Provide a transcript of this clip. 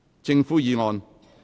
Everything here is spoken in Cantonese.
政府議案。